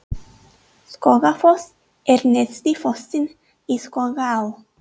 Skógafoss er neðsti fossinn í Skógaá.